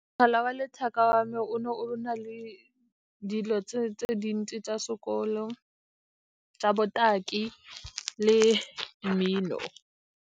Mogala wa letheka wa me o ne o na le dilo tse dintsi tsa sekolo tsa botaki le mmino.